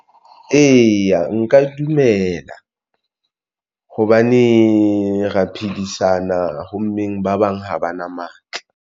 Eya, nka dumela hobane re ya phedisana ho mmeng ba bang ha ba na matla.